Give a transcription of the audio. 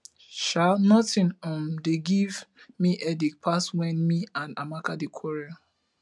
um nothing um dey give me headache pass when me and amaka dey quarrel